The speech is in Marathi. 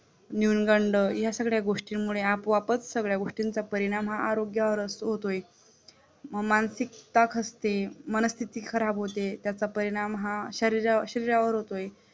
न्यूनगंड या सगळ्या गोष्टींमुळे आपोआपच सगळ्या गोष्टींचा परिणाम हा आरोग्यावर होतोय, मग मानसिकता असते, मनस्थिती खराब होते त्याच्या परिणाम हा शरीशरीरावर होतोय